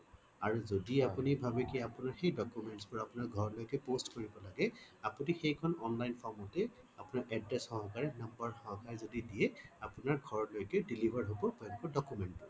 আৰু যদি আপোনি ভাবে আপোনাৰ সেই documents বোৰ আপোনাৰ ঘৰলৈকে post কৰিব লাগে আপুনি সেইখন online form তে আপোনাৰ address সহকাৰে number সহকাৰে যদি দি দিয়ে আপোনাৰ ঘৰলৈকে deliver হব document